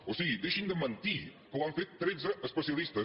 o sigui deixin de mentir que ho han fet tretze especialistes